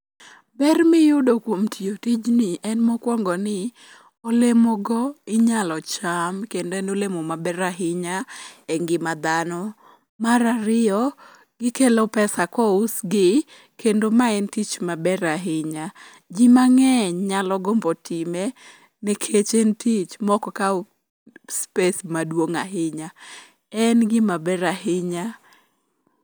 Ber miyudo kuom tiyo tijni em mokwongo ni, olemogo inyalo cham kendo en olemo maber ahinya e ngima dhano. Mar ariyo, gikelo pesa kousgi, kendo ma en tich maber ahinya. Ji mang'eny nyalo gombo time nikech en tich mok kaw space madwong' ahinya. En gimaber ahinya.